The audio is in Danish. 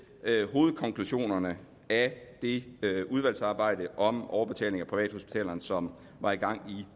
hovedkonklusionerne af det udvalgsarbejde om overbetaling af privathospitalerne som var i gang i